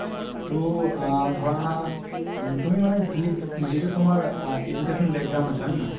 তো আ ধৰা তুমি মানে যি যিতো তুমাৰ education আছে হয় নে নহয়